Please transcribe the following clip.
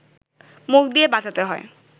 মুখ দিয়ে বাজাতে হয়